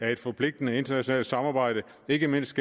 et forpligtende internationalt samarbejde ikke mindst